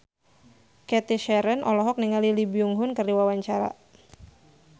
Cathy Sharon olohok ningali Lee Byung Hun keur diwawancara